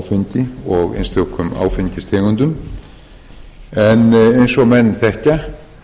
áfengi og einstökum áfengistegundum en eins og menn þekkja þá er hvort tveggja að menn